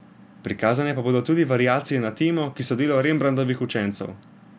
Prikazane pa bodo tudi variacije na temo, ki so delo Rembrandtovih učencev.